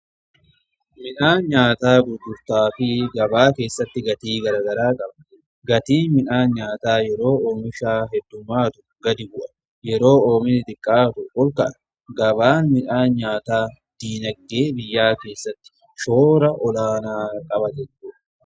midhaan nyaataa gurgurtaa fi gabaa keessatti gatii garaa garaa qaba. gatiin midhaan nyaataa yeroo oomishni heddumaatu gadi bu'a; yeroo oomishni xiqqaatu olka'a. gabaan midhaan nyaataa diinagdee biyyaa keessatti shoora olaanaa qaba.